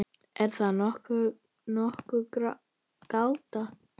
Er þá nokkur gáta?